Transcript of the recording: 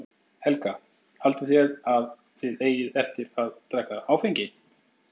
Helga: Haldið þið að þið eigið eftir að drekka áfengi?